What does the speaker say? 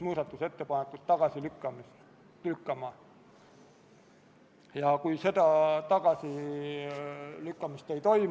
Hääletustulemused Poolt hääletas 63 Riigikogu liiget, vastuolijaid ja erapooletuid ei ole.